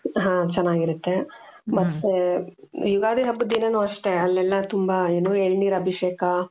ಹಾo ಚೆನ್ನಾಗಿರುತ್ತೆ ಮತ್ತೆ ಯುಗಾದಿ ಹಬ್ಬದ ದಿನಾನು ಅಷ್ಟೆ ಅಲ್ಲೆಲ್ಲಾ ತುಂಬಾ ಎಳನೀರು ಅಭಿಷೇಕ